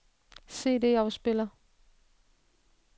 CD-afspiller